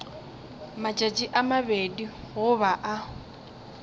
matšatši a mabedi goba a